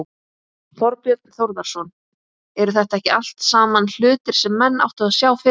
Þorbjörn Þórðarson: Eru þetta ekki allt saman hlutir sem menn áttu að sjá fyrir?